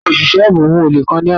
Awọn oṣiṣẹ aabo mu ole kan ni alẹ ana.